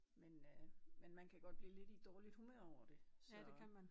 Men øh men man kan godt blive lidt i dårligt humør over det så